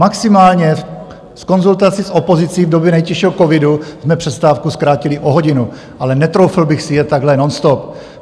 Maximálně s konzultací s opozicí v době nejtěžšího covidu jsme přestávku zkrátili o hodinu, ale netroufl bych si jet takhle nonstop.